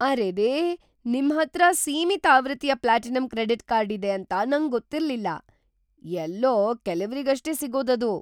ಅರೆರೇ! ನಿಮ್ಹತ್ರ ಸೀಮಿತ ಆವೃತ್ತಿಯ ಪ್ಲಾಟಿನಂ ಕ್ರೆಡಿಟ್ ಕಾರ್ಡ್ ಇದೆ ಅಂತ ನಂಗೊತ್ತಿರ್ಲಿಲ್ಲ. ಎಲ್ಲೋ ಕೆಲವ್ರಿಗಷ್ಟೇ ಸಿಗೋದದು.